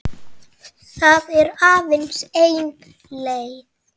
Það er aðeins ein leið